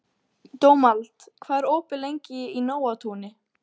Dómald, hvað er opið lengi í Nóatúni?